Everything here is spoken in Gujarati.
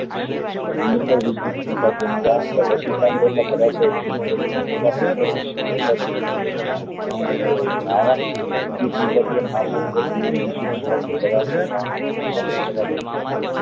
ધરાવતા દ્રાવણ નું મંડાણ કરવા થી એના